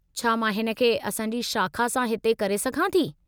छा मां हिन खे असां जी शाख़ा सां हिते करे सघां थी?